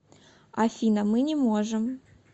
афина мы не можем